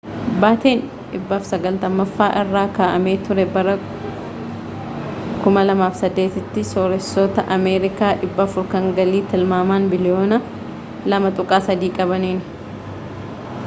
bateen 190ffaa irra ka’amee ture bara 2008’ti sorreesoota ameerikaa 400 kan galii tilmaaman biliyoona $2.3 qabanin